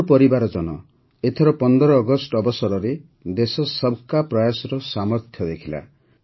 ମୋର ପରିବାରଜନ ଏଥର ୧୫ ଅଗଷ୍ଟ ଅବସରରେ ଦେଶ ସବ୍କା ପ୍ରୟାସର ସାମର୍ଥ୍ୟ ଦେଖିଲା